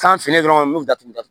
Kan finnan dɔrɔn n bɛ o datugu datugu